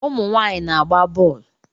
Ụmụ nwaanyị na-agba bọọlụ